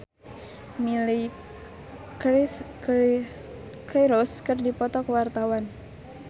Angga Puradiredja jeung Miley Cyrus keur dipoto ku wartawan